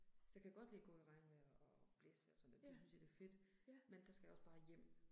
Så kan jeg godt lide at gå i regnvejr og blæsevejr og sådan, der synes jeg det er fedt. Men der skal jeg også bare hjem